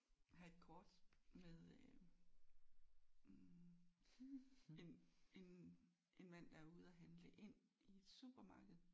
Jeg har et kort med øh hm en en en mand der er ude at handle ind i et supermarked